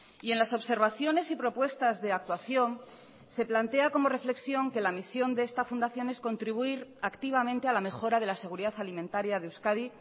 y en las observaciones y propuestas de actuación se plantea como reflexión que la misión de esta fundación es contribuir activamente a la mejora de la seguridad alimentaria de euskadi